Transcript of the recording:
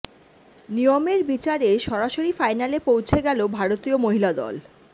নিয়মের বিচারে সরাসরি ফাইনালে পৌছে গেল ভারতীয় মহিলা দল